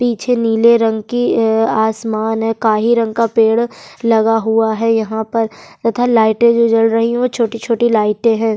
पीछे नीले रंग की अ आसमान है काही रंग का पेड़ लगा हुआ है यहाँ पर तथा लाइटें जो जल रही है वो छोटी-छोटी लाइटें हैं।